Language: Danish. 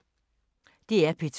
DR P2